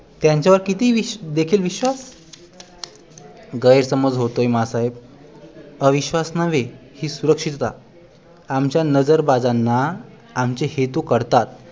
त्यांचा वर किती देखील अविश्वास गैर समज होतोय माँ साहेब अविश्वास नव्हे ही सुरक्षितता आमच्या नजरबाजांना आमचे हेतू कळतात